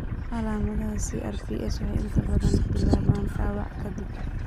Calaamadaha CRPS waxay inta badan bilaabaan dhaawac ka dib.